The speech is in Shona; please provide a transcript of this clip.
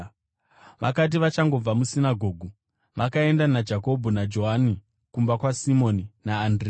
Vakati vachangobva musinagoge, vakaenda naJakobho naJohani kumba kwaSimoni naAndirea.